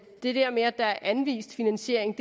det der med at der er anvist finansiering